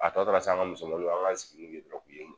A tɔ tora sisan an ka musomanninw an k'an sigi